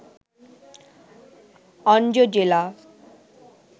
অনজো জেলা